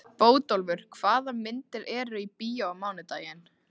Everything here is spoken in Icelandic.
Bótólfur, hvaða myndir eru í bíó á mánudaginn?